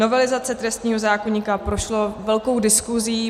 Novelizace trestního zákoníku prošla velkou diskuzí.